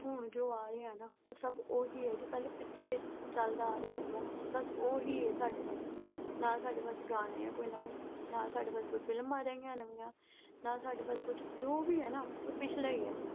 ਹੁਣ ਜੋ ਆ ਰਿਹਾ ਨਾ। ਉਹ ਉਹੀ ਆ ਜੋ ਪਹਿਲਾਂ ਪਿੱਛੇ ਚਲਦਾ ਆ ਰਿਹਾ ਸੀਗਾ ਨਾ ਅਹ ਬਸ ਉਹੀ ਆ ਸਾਡੇ ਕੋਲ। ਨਾ ਸਾਡੇ ਕੋਲ ਗਾਣੇ ਆ ਨਵੇਂ। ਨਾ ਸਾਡੇ ਕੋਲ ਫ਼ਿਲਮਾਂ ਰਹੀਆਂ ਨਵੀਆਂ। ਨਾ ਸਾਡੇ ਕੋਲ ਕੁਛ, ਜੋ ਵੀ ਆ ਨਾ ਅਹ ਉਹ ਪਿਛਲਾ ਹੀ ਆ।